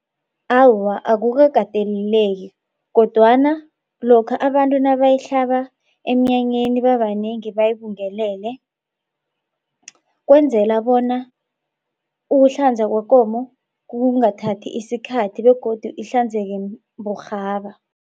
Awa, akukakateleleki kodwana lokha abantu nabayihlaba emnyanyeni babanengi bayibungelele kwenzela bona ukuhlanza kwekomo kungathathi isikhathi begodu ihlanzeke burhaba.